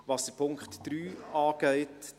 Was den Punkt 3 angeht: